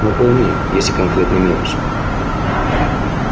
но пойми есть и конкретный минус